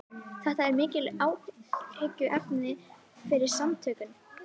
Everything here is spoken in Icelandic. Þetta er mikið áhyggjuefni fyrir samtökin